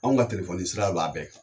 Anw ka telefɔni sira de b'a bɛɛ kan